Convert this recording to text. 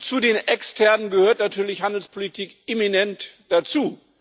Zu den externen gehört natürlich Handelspolitik eminent dazu!